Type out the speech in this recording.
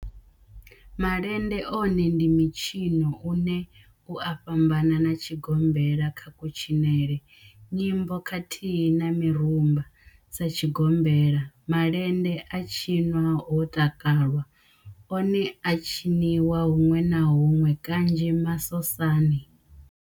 Malende one ndi mitshino une u a fhambana na tshigombela kha kutshinele, nyimbo khathihi na mirumba. Sa tshigombela, malende a tshinwa ho takalwa, one a a tshiniwa hunwe na hunwe kanzhi masosani.